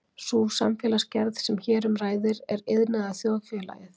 sú samfélagsgerð sem hér um ræðir er iðnaðarþjóðfélagið